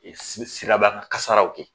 N mi siraba kan kasaraw kɛ